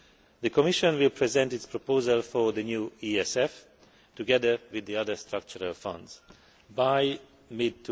The Commission will present its proposal for the new ESF together with the other structural funds by mid